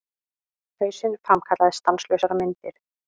Hausinn framkallaði stanslausar myndir.